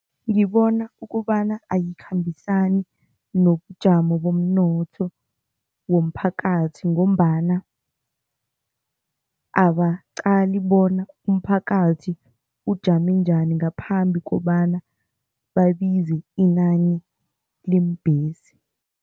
Ngibona ukobana ayikhambisani nobujamo bomnotho womphakathi ngombana abaqali bona umphakathi ujame njani ngaphambi kobana babize inani leembhesi.